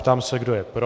Ptám se, kdo je pro.